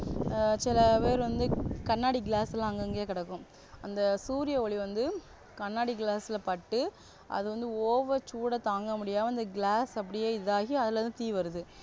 ஆஹ் சிலபேரு வந்து கண்ணாடி glass லாம் அங்கங்கேயே கிடக்கும் அந்த சூரியஒளி வந்து கண்ணாடி glass ல பட்டு அது வந்து over சூட தாங்க முடியாம அந்த glass அப்படியே இதாகி அதுல இருந்து தீ வருது